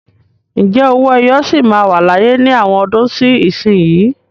Ǹjẹ́ owó ẹyọ sì máa wà láyé ní àwọn ọdún sí ìsinsìnyí?